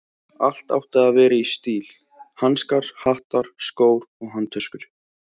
Allt átti að vera í stíl: hanskar, hattar, skór og handtöskur.